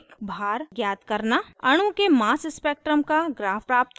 अणु के mass spectrum का graph graph करना